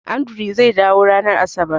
Andrew zai dawo ranar Asabar